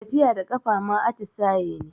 Tafiya da ƙafa ma atisaye ne